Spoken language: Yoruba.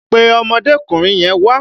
Pe ọmọdékùnrin yẹn wá!